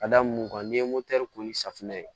Ka da mun kan n'i ye motɛri ko ni safinɛ ye